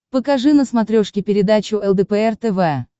покажи на смотрешке передачу лдпр тв